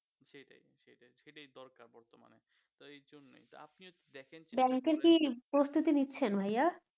ব্যাংকে কি প্রস্তুতি নিচ্ছেন ভাইয়া